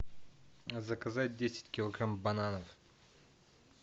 заказать десять килограмм бананов